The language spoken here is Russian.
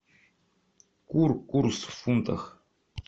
кур курс в фунтах